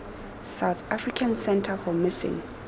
south african centre for missing